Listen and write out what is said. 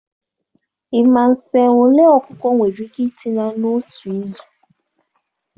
Ị ma nsen ole ọkụkọ nwere ike ịtina n'otu izu?